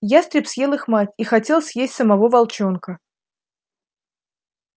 ястреб съел их мать и хотел съесть самого волчонка